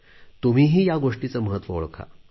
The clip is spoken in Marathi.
तुम्हीही या गोष्टीचे महत्त्व ओळखा